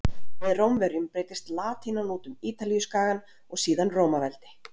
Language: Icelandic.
Með Rómverjum breiddist latínan út um Ítalíuskagann og síðan Rómaveldi.